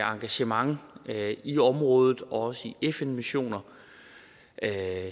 engagement i området og også i fn missioner